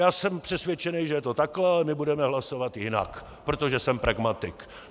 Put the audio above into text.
Já jsem přesvědčený, že je to takhle, ale my budeme hlasovat jinak, protože jsem pragmatik.